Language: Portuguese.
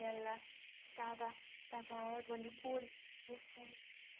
Ela estava, dava aula de manicure, eu fui.